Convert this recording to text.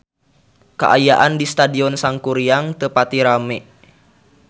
Kaayaan di Stadion Sangkuriang teu pati rame